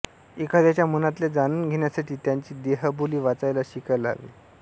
एकाद्या च्या मनातले जाणून घेण्यासाठी त्याची देहबोली वाचायला शिकायला हवे